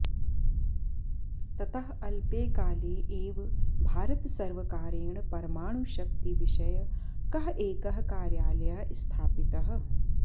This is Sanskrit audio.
ततः अल्पे काले एव भारतसर्वकारेण परमाणुशक्तिविषयकः एकः कार्यालयः स्थापितः